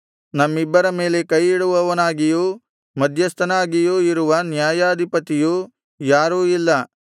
ನಮ್ಮಿಬ್ಬರ ಮೇಲೆ ಕೈಯಿಡುವವನಾಗಿಯೂ ಮಧ್ಯಸ್ಥನಾಗಿಯೂ ಇರುವ ನ್ಯಾಯಾಧಿಪತಿಯು ಯಾರೂ ಇಲ್ಲ